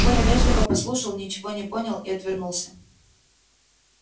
коля вежливо послушал ничего не понял и отвернулся